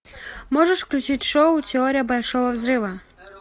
можешь включить шоу теория большого взрыва